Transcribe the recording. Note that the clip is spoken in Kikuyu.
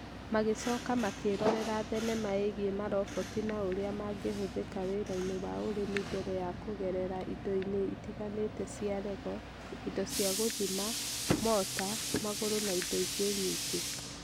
Magĩcoka makĩrorera thenema ĩgiĩ maroboti na ũrĩa mangĩhũthĩka wĩra-inĩ wa ũrĩmi mbere ya kũgerera indo-inĩ itiganĩte cia Lego, indo cia gũthima, mota, magũrũ na indo ingĩ nyingĩ